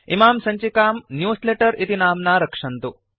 इमां सञ्चिकां न्यूजलेटर इति नाम्ना रक्षन्तु